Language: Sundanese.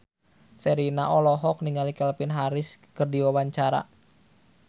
Sherina olohok ningali Calvin Harris keur diwawancara